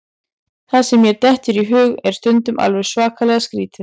Það sem mér dettur í hug er stundum alveg svakalega skrítið.